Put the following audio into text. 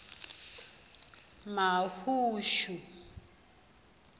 mahushu